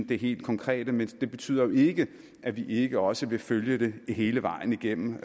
det helt konkrete men det betyder jo ikke at vi ikke også vil følge det hele vejen igennem